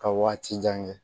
Ka waati jan kɛ